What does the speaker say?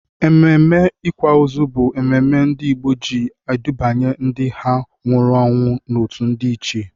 Ememe ịkwa ozu bụ ememe ndị Igbo ji edubanya ndị ha nwụrụ anwụ n'otu ndị ichie.